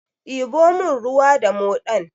Diɓo mun ruwa da moɗan!